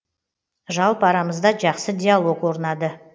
жалпы арамызда жақсы диалог орнады